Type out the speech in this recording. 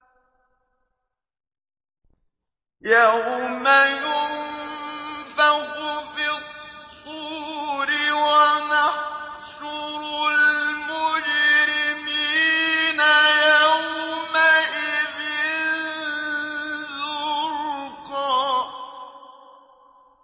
يَوْمَ يُنفَخُ فِي الصُّورِ ۚ وَنَحْشُرُ الْمُجْرِمِينَ يَوْمَئِذٍ زُرْقًا